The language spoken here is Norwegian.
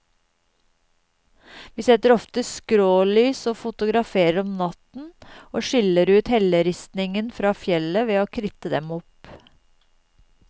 Vi setter ofte skrålys og fotograferer om natten, og skiller ut helleristningen fra fjellet ved å kritte dem opp.